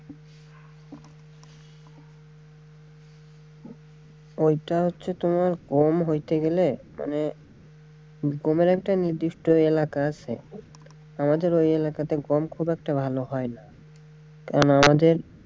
ওইটা হচ্ছে তোমার গম হইতে গেলে মানে গমের একটা নির্দিষ্ট এলাকা আছে আমাদের ওই এলাকাতে গম খুব একটা ভালো হয়না কারন আমাদের,